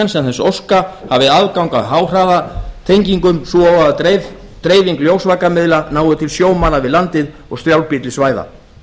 sem þess óska hafi aðgang að háhraðatengingum svo og að dreifing ljósvakamiðla nái til sjómanna við landið og strjálbýlli svæða